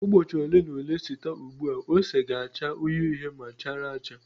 Ụbọchị ole na ole site ugbu a ose ga-acha uhie uhie ma chara acha.